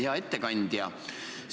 Hea ettekandja!